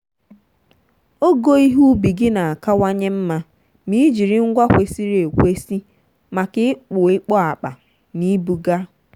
ogo ihe ubi gị na-akawanye mma ma ị jiri ngwa kwesịrị ekwesị maka ịkpụ ịkpọ akpa na ibuga.